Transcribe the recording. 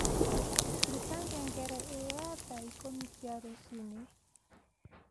ruta ngengere ĩria ya thaa ikũmi cia rũcinĩ